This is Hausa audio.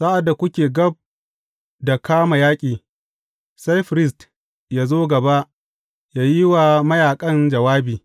Sa’ad da kuke gab da kama yaƙi, sai firist yă zo gaba yă yi wa mayaƙan jawabi.